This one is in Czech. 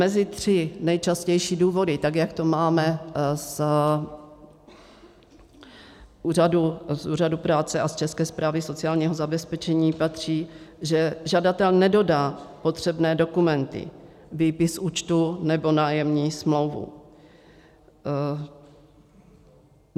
Mezi tři nejčastější důvody, tak jak to máme Úřadu práce a z České správy sociálního zabezpečení, patří, že žadatel nedodá potřebné dokumenty, výpis z účtu nebo nájemní smlouvu.